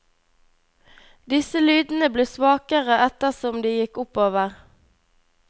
Disse lydene ble svakere etter som de gikk oppover.